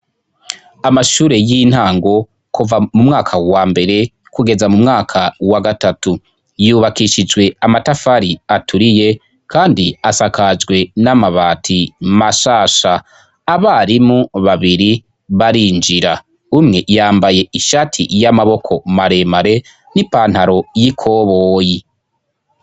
Amashure y'intango kuva mu mwaka wa mbere kugeza mu mwaka wa gatatu yubakishijwe amatafari aturiye, kandi asakajwe n'amabati mashasha abarimu babiri barinjira umwe yambaye ishati y'amaboko maremare ipantaro yikoboyi.